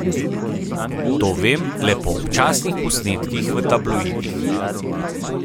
To vem le po občasnih posnetkih v tabloidih.